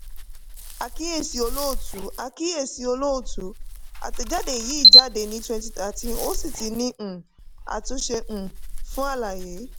àkíyèsí olóòtú: àkíyèsí olóòtú: atẹjade yìí jáde ní twenty thirteen ó sì ti ní um àtúnṣe um fún àlàyé.